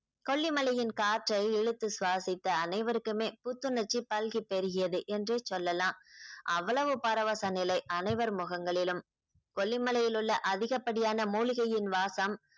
கொல்லிமலையின் காற்றை இழுத்து சுவாசித்த அனைவருக்குமே புத்துணர்ச்சி பல்கி பெருகியது என்றே சொல்லலாம் அவ்வளவு பரவச நிலை அனைவர் முகங்களிலும் கொல்லி மலையிலுள்ள அதிக படியான மூலிகையின் வாசம்